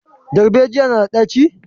Darbejiya na da ɗaci?